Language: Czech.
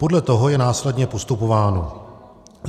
Podle toho je následně postupováno.